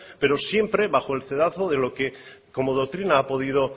pero siempre bajo el cedazo de lo que como doctrina ha podido